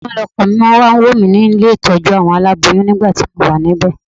Ojoojúmọ́ ni ọkọ mi máa ń wá wò mí nílé ìtọ́jú àwọn aláboyún nígbà tí mo wà níbẹ̀